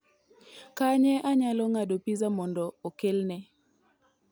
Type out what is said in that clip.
kanye anyalo ng'ado pizza mondo okelne